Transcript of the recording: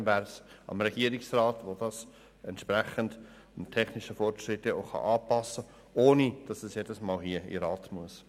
Dann wäre es am Regierungsrat, diese Liste entsprechend dem technischen Fortschritt anzupassen, ohne dass sie jedes Mal dem Rat vorgelegt werden muss.